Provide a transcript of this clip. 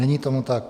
Není tomu tak.